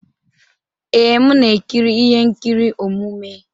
Ee, m na-ekiri ihe nkiri omume.